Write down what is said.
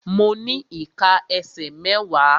Mo ní ìká ẹsẹ̀ mẹ́wàá.